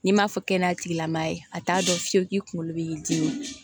N'i m'a fɔ kɛnɛya tigilamɔgɔ ye a t'a dɔn fiyewu kunkolo bɛ i dimi